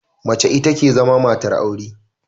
Mace ita ke zama matar aure.